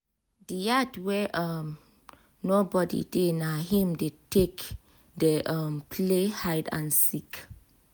di yard wey um no body dey na him dem take dey um play hide play hide and seek